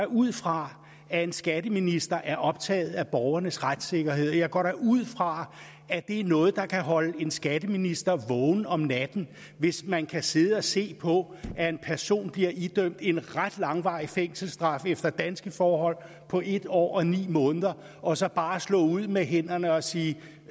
ud fra at en skatteminister er optaget af borgernes retssikkerhed og jeg går da ud fra at det er noget der kan holde en skatteminister vågen om natten hvis man kan sidde og se på at en person bliver idømt en ret langvarig fængselsstraf efter danske forhold på en år og ni måneder og så bare slå ud med hænderne og sige